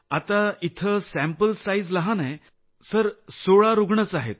आता इथं sample size लहान आहे सर 16 रूग्णच आहेत